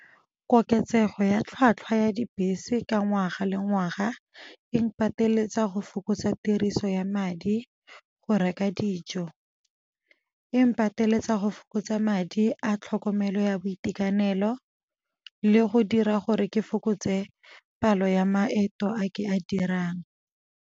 Koketsego ya tlhatlhwa ya dibese ka ngwaga le ngwaga eng pateletsa go fokotsa tiriso ya madi go reka dijo. Eng pateletsa go fokotsa madi a tlhokomelo ya boitekanelo le go dira gore ke fokotse palo ya maeto a ke a dirang.